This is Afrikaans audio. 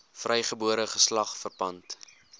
vrygebore geslag verpand